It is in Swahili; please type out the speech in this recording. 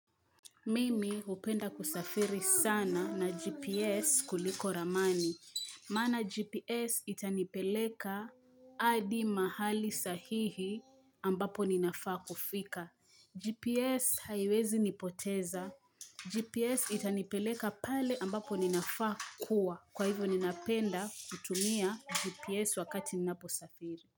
Mimi hupenda kusafiri sana na GPS kuliko ramani. Maana GPS itanipeleka adi mahali sahihi ambapo ninafaa kufika. GPS haiwezi nipoteza. GPS itanipeleka pale ambapo ninafaa kuwa. Kwa hivyo ninapenda kutumia GPS wakati ninaposafiri.